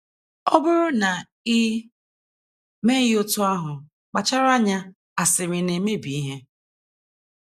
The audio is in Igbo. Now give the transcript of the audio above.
Ọ bụrụ na i meghị otú ahụ, kpachara anya asịrị na - emebi ihe.